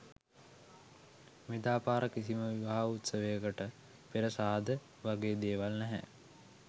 මෙදා පාර කිසිම විවාහ උත්සවයට පෙර සාද වගේ දේවල් නැහැ.